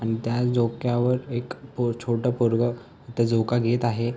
आणि त्या झोक्यावर एक पो छोटं पोरग तिथे झोका घेत आहे.